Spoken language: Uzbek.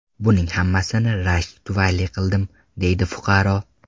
Buning hammasini rashk tufayli qildim”, deydi fuqaro.